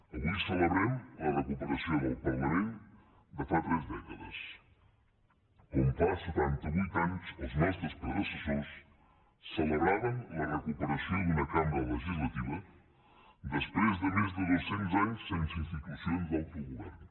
avui celebrem la recuperació del parlament de fa tres dècades com fa setanta vuit anys els nostres predecessors celebraven la recuperació d’una cambra legislativa després de més de dos cents anys sense institucions d’autogovern